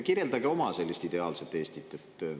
Kirjeldage oma sellist ideaalset Eestit.